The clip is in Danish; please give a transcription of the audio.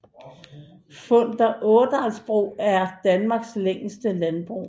Funder Ådalsbro er Danmarks længste landbro